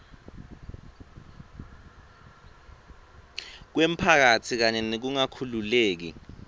kwemphakatsi kanye nekungakhululeki